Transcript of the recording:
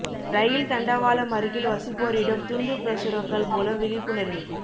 ரயில் தண்டவாளம் அருகில் வசிப்போரிடம் துண்டுப் பிரசுரங்கள் மூலம் விழிப்புணா்வு